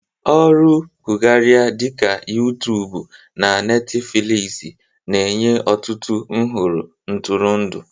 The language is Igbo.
Ọrụ gụgharia dị ka Yụụtuubụ na Netifiliizi na-enye ọtụtụ nhọrọ ntụrụndụ.